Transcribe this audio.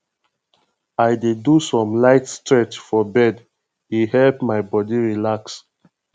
i dey do some light stretch for bed e help my body relax